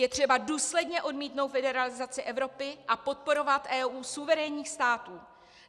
Je třeba důsledně odmítnout federalizaci Evropy a podporovat EU suverénních států.